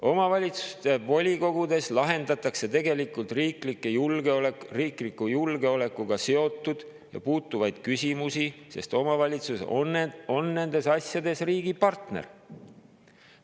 Omavalitsuste volikogudes lahendatakse riikliku julgeolekuga seotud ja sellesse puutuvaid küsimusi, sest omavalitsused on nendes asjades riigi partnerid.